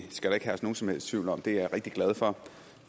skal ikke herske nogen som helst tvivl om at det er jeg rigtig glad for